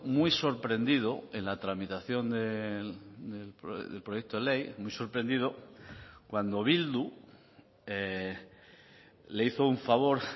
muy sorprendido en la tramitación del proyecto ley muy sorprendido cuando bildu le hizo un favor